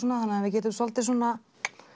þannig að við getum svolítið svona